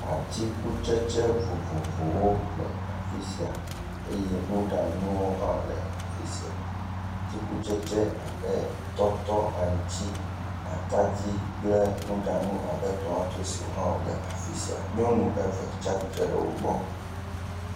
Atikutsetse vovovowo le afi sia eye nuɖanu hã le afi sia, atikutsetse abe atadi, tɔtɔ, aŋuti kple nuɖanu abe tomatosi hãle afi sia, nyɔnu eve hã tɔ ɖe wo gbɔ.